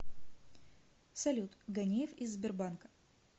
салют ганеев из сбербанка